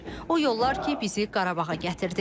O yollar ki, bizi Qarabağa gətirdi.